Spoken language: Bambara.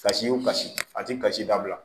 Kasi o kasi a tɛ kasi dabila